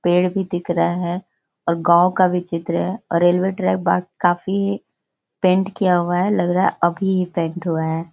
पेड़ भी दिख रहा है और गांव का भी चित्र है और रेलवे ट्रैक बा काफी पेंट किया हुआ है। लग रहा है अभी ही ये पेंट हुआ है।